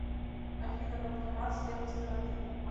афина банкомат с левой стороны